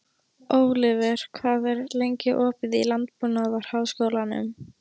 Oliver, hvað er lengi opið í Landbúnaðarháskólanum?